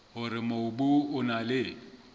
hore mobu o na le